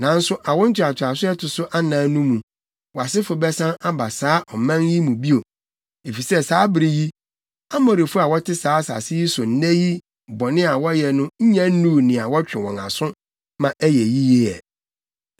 Nanso awo ntoatoaso a ɛto so anan no mu, wʼasefo bɛsan aba saa ɔman yi mu bio. Efisɛ saa bere yi, Amorifo a wɔte saa asase yi so nnɛ yi bɔne a wɔyɛ no nnya nnuu nea wɔtwe wɔn aso ma ɛyɛ yiye ɛ.”